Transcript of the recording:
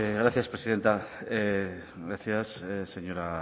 gracias presidenta gracias señora